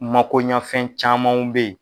Makoɲafɛn camanw bɛ ye.